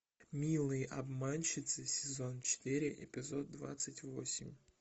милые обманщицы сезон четыре эпизод двадцать восемь